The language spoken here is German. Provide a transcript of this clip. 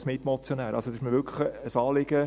Es ist mir wirklich ein Anliegen.